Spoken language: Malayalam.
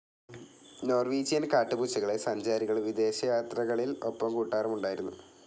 നോർവീജിയൻ കാട്ടുപൂച്ചകളെ സഞ്ചാരികൾ വിദേശയാത്രകളിൽ‌ ഒപ്പംകൂട്ടാറുമുണ്ടായിരുന്നു.